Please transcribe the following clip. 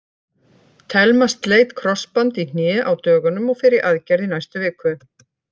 Telma sleit krossband í hné á dögunum og fer í aðgerð í næstu viku.